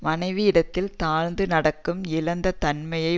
மனைவியிடத்தில் தாழ்ந்து நடக்கும் இழிந்த தன்மை